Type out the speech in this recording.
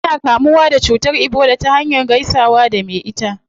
Ana kama ciwon ebola ta hanyar gaisawa da me ita